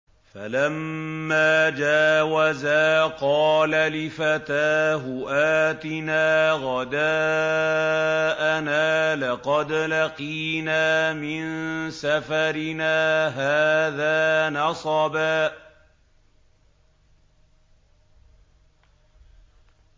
فَلَمَّا جَاوَزَا قَالَ لِفَتَاهُ آتِنَا غَدَاءَنَا لَقَدْ لَقِينَا مِن سَفَرِنَا هَٰذَا نَصَبًا